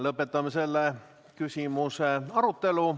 Lõpetame selle küsimuse arutelu.